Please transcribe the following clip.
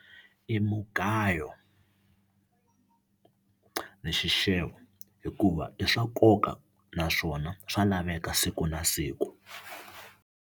I mugayo ni xixevo hikuva i swa nkoka naswona swa laveka siku na siku.